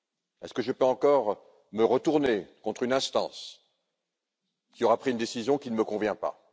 Est ce que je peux encore me retourner contre une instance qui aura pris une décision qui ne me convient pas?